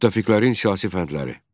Müttəfiqlərin siyasi fəndləri.